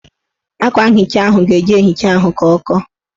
Akwa nhicha ahụ ga-eji ehicha ahụ ka ọ kọọ